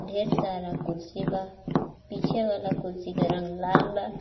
ढेर सारा कुर्सी बा पीछे वाला कुर्सी के रंग लाल बा.